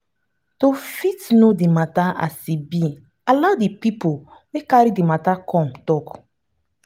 to fit know di matter as e be allow di pipo wey carry the matter come talk